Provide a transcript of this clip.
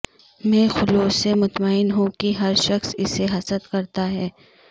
میں خلوص سے مطمئن ہوں کہ ہر شخص اسے حسد کرتا ہے